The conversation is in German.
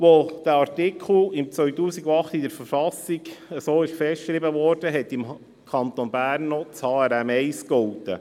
Als dieser Artikel 2008 so in der Verfassung festgeschrieben wurde, galt im Kanton Bern noch das HRM1.